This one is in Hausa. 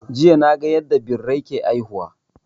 Jiya na ga yanda Birai ke haihuwa